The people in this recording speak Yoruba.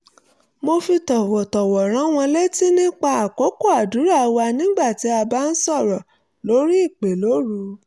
mo fi tọ̀wọ̀tọ̀wọ̀ rán wọn létí nipa àkókò àdúrà wa nígbà tí a bá ń sọ̀rọ̀ lórí ìpè lóru